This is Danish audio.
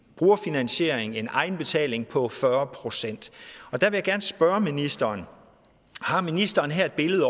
brugerfinansiering en egenbetaling på fyrre procent og der vil jeg gerne spørge ministeren har ministeren her et